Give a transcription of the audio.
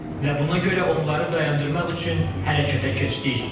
Və buna görə onları dayandırmaq üçün hərəkətə keçdik.